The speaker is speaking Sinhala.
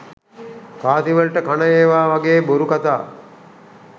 කාසි වලට කන ඒවා වගේ බොරු කතා.